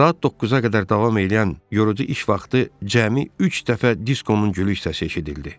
Saat 9-a qədər davam eləyən yorucu iş vaxtı cəmi üç dəfə Diskonun gülük səsi eşidildi.